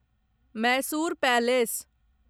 Mysore palace